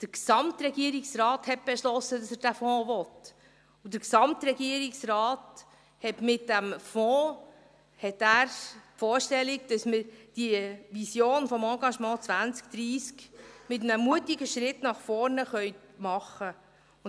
Der Gesamtregierungsrat hat beschlossen, dass er diesen Fonds will, und der Gesamtregierungsrat hat die Vorstellung, dass wir mit diesem Fonds bei der Vision des Engagements 2030 einen mutigen Schritt nach vorne machen können.